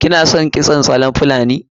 Kina son kitson salon fulani?